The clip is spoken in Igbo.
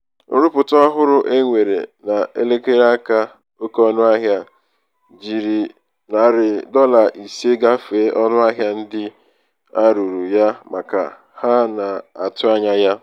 nrụpụta ọhụrụ e nwere n'elekere aka oke ọnụahịa ahụ jiri narị jiri narị dọla ise gafee ọnụahịa ndị a rụrụ ya maka ha na-atụ anya ya.